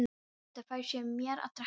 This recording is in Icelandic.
Edda fær sér meira að drekka.